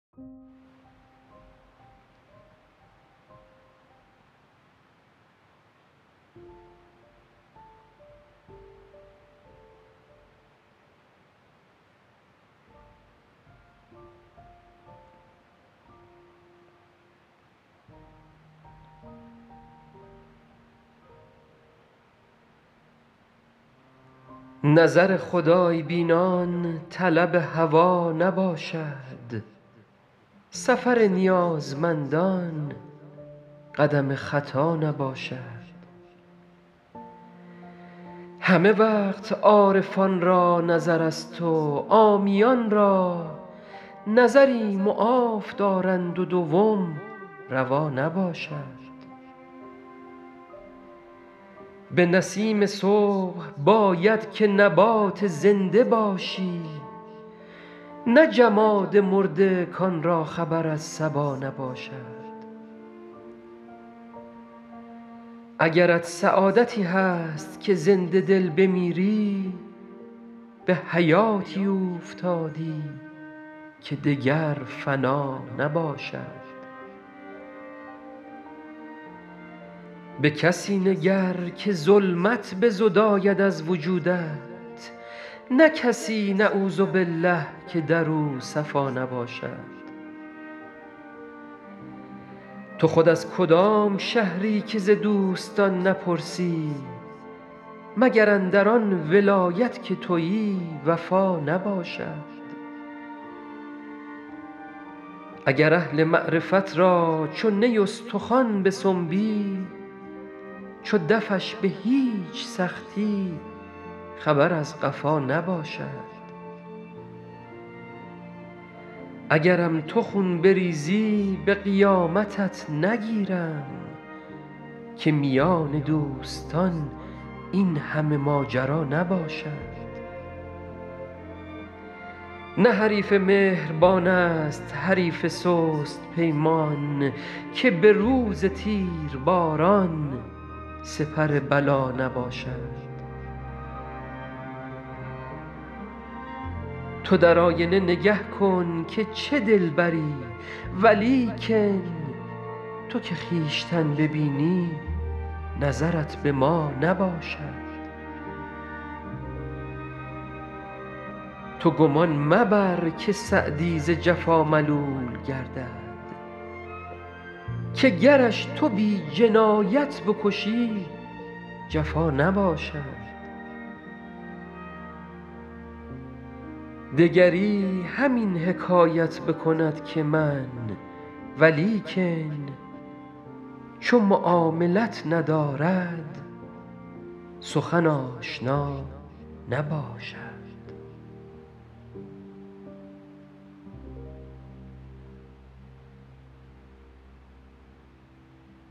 نظر خدای بینان طلب هوا نباشد سفر نیازمندان قدم خطا نباشد همه وقت عارفان را نظرست و عامیان را نظری معاف دارند و دوم روا نباشد به نسیم صبح باید که نبات زنده باشی نه جماد مرده کان را خبر از صبا نباشد اگرت سعادتی هست که زنده دل بمیری به حیاتی اوفتادی که دگر فنا نباشد به کسی نگر که ظلمت بزداید از وجودت نه کسی نعوذبالله که در او صفا نباشد تو خود از کدام شهری که ز دوستان نپرسی مگر اندر آن ولایت که تویی وفا نباشد اگر اهل معرفت را چو نی استخوان بسنبی چو دفش به هیچ سختی خبر از قفا نباشد اگرم تو خون بریزی به قیامتت نگیرم که میان دوستان این همه ماجرا نباشد نه حریف مهربان ست حریف سست پیمان که به روز تیرباران سپر بلا نباشد تو در آینه نگه کن که چه دلبری ولیکن تو که خویشتن ببینی نظرت به ما نباشد تو گمان مبر که سعدی ز جفا ملول گردد که گرش تو بی جنایت بکشی جفا نباشد دگری همین حکایت بکند که من ولیکن چو معاملت ندارد سخن آشنا نباشد